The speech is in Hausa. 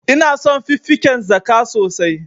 Ina son fiffiken zaka sosai.